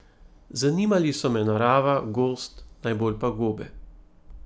Zanimali so me narava, gozd, najbolj pa gobe.